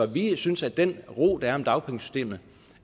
vi synes at den ro der er omkring dagpengesystemet